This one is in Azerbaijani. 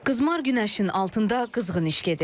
Qızmar günəşin altında qızğın iş gedir.